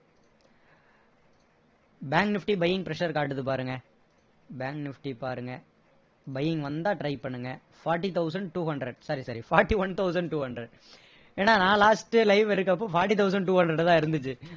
bank nifty buying pressure காட்டுது பாருங்க bank nifty பாருங்க buying வந்தா try பண்ணுங்க forty thousand two hundred sorry sorry forty-one thousand two hundred ஏன்னா நான் last live எடுக்குறப்போ forty thousand two hundred ல தான் இருந்துச்சு